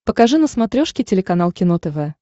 покажи на смотрешке телеканал кино тв